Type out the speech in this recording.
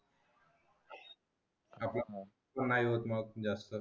हो नाही होत मग जास्त